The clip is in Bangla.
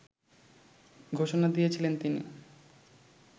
ঘোষণা দিয়েছিলেন তিনি